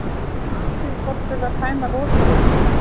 Athugið hvort þurfi að tæma rotþróna.